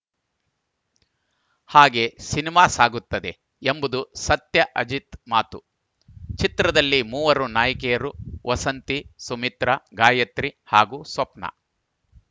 ಹಾಗೆ ಸಿನಿಮಾ ಸಾಗುತ್ತದೆ ಎಂಬುದು ಸತ್ಯ ಅಜಿತ್‌ ಮಾತು ಚಿತ್ರದಲ್ಲಿ ಮೂವರು ನಾಯಕಿಯರು ವಸಂತಿ ಸುಮಿತ್ರಾ ಗಾಯಿತ್ರಿ ಹಾಗೂ ಸ್ವಪ್ನ